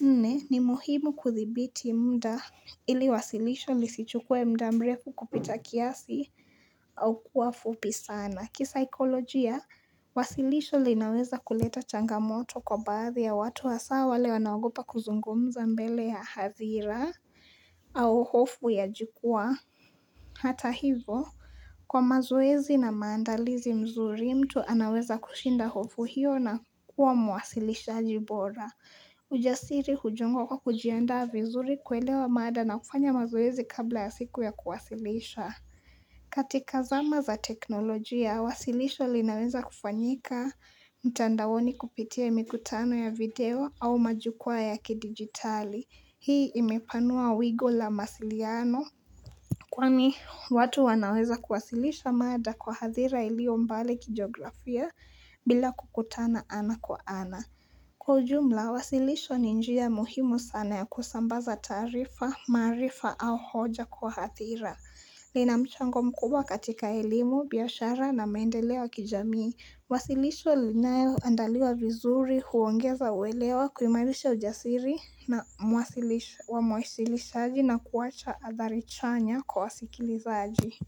Nne, ni muhimu kudhibiti muda ili wasilisho lisichukue muda mrefu kupita kiasi au kuwa fupi sana. Kisaikolojia, wasilisho linaweza kuleta changamoto kwa baadhi ya watu, hasa wale wanaogopa kuzungumza mbele ya hadhira au hofu ya jukwaa Hata hivyo, kwa mazoezi na maandalizi mazuri, mtu anaweza kushinda hofu hiyo na kuwa mwasilishaji bora. Ujasiri hujengwa kwa kujiandaa vizuri, kuelewa mada na kufanya mazoezi kabla ya siku ya kuwasilisha. Katika zama za teknolojia, wasilisho linaweza kufanyika mtandaoni kupitia mikutano ya video au majukwaa ya kidijitali. Hii imepanua wigo wa mawasiliano. Kwa hiyo, watu wanaweza kuwasilisha mada kwa hadhira iliyo mbali kijiografia bila kukutana ana kwa ana. Kwa ujumla, wasilisho ni njia muhimu sana ya kusambaza taarifa, maarifa au hoja kwa hadhira. Lina mchango mkubwa katika elimu, biashara na maendeleo ya kijamii. Wasilisho lililoandaliwa vizuri huongeza uelewa, huimarisha ujasiri wa mwasilishaji na kuacha athari chanya kwa wasikilizaji.